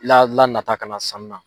La lanata ka na sanni na.